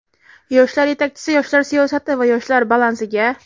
yoshlar yetakchisi yoshlar siyosati va yoshlar balansiga;.